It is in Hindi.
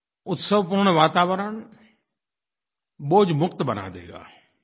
उत्सवपूर्ण वातावरण बोझमुक्त बना देगा